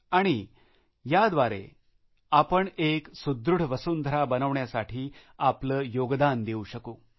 आणि आपण सगळ्यांनी एकत्र येऊन एक सुदृढ वसुंधरा बनवण्यासाठी आपले योगदान देऊ शकू